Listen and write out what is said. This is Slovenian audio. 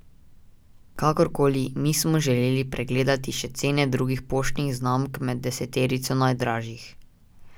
Kakorkoli, mi smo si želeli pogledati še cene drugih poštnih znamk med deseterico najdražjih.